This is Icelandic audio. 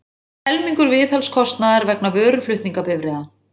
Helmingur viðhaldskostnaðar vegna vöruflutningabifreiða